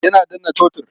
Yana danna totur.